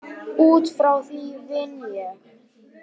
Út frá því vinn ég.